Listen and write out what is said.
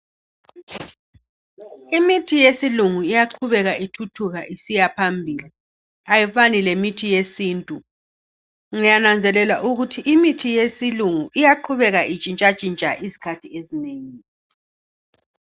Imithi yesilungu iyaqhubeka ithuthuka isiyaphambili. Ayifani lemithi yesintu, ngiyananzelela ukuthi imithi yesilungu iyaqhubeka itshintshatshintsha izikhathi ezinengi.